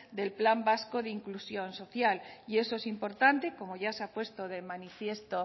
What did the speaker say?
del plan vasco de inclusión social y eso es importante como ya se ha puesto de manifiesto